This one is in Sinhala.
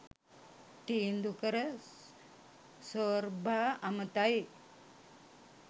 තීන්දු කර සෝර්බා අමතයි